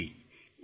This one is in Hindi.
जी